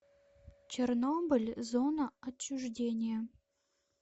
чернобыль зона отчуждения